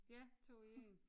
Ja 2 i 1